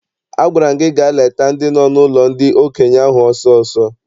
Agwara m gị gaa leta ndị nọ n'ụlọ ndị okenye ahụ ọsọ ọsọ!